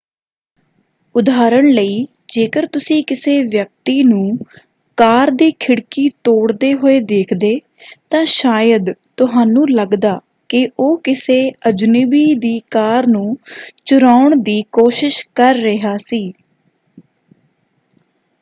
ਉਦਾਹਰਣ ਲਈ ਜੇਕਰ ਤੁਸੀਂ ਕਿਸੇ ਵਿਅਕਤੀ ਨੂੰ ਕਾਰ ਦੀ ਖਿੜਕੀ ਤੋੜਦੇ ਹੋਏ ਦੇਖਦੇ ਤਾਂ ਸ਼ਾਇਦ ਤੁਹਾਨੂੰ ਲੱਗਦਾ ਕਿ ਉਹ ਕਿਸੇ ਅਜਨਬੀ ਦੀ ਕਾਰ ਨੂੰ ਚੁਰਾਉਣ ਦੀ ਕੋਸ਼ਿਸ਼ ਕਰ ਰਿਹਾ ਸੀ।